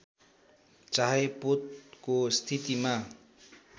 चाहे पोतको स्थितिमा